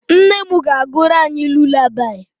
Nne m na-agụrụ anyị lulabaị.